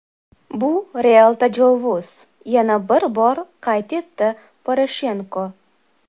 Bu real tajovuz”, yana bir bor qayd etdi Poroshenko.